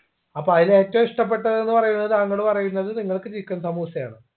അപ്പോ അയില് ഏറ്റവും ഇഷ്ടപ്പെട്ടത്ന്ന് പറയുന്നത് താങ്കൾ പറയുന്നത് നിങ്ങൾക്ക് chicken സമൂസയാണ്